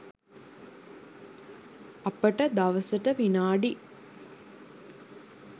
අපට දවසට විනාඩි